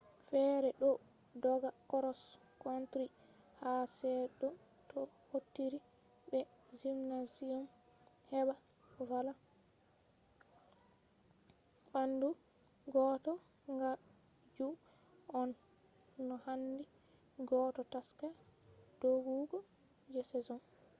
fere ɗo dogga cross country ha se’to to hautiri be gymnasium heɓa valla ɓandu goɗɗo kan ju on no handi goɗɗo taska doggugo je season